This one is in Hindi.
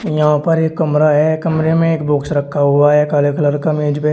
यहां पर एक कमरा है कमरे में एक बॉक्स रखा हुआ है काले कलर का मेज पे।